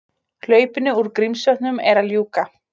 Hlaupinu úr Grímsvötnum er að ljúka